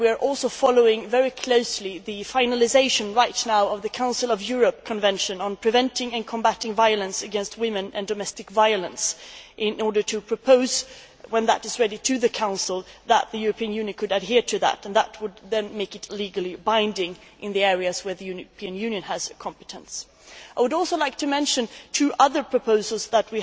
We are also following very closely the finalisation, right now, of the Council of Europe Convention on preventing and combating violence against women and domestic violence, in order when it is ready to propose to the Council that the European Union adhere to it, which would then make it legally binding in the areas where the European Union has competence. I would also like to mention two other proposals that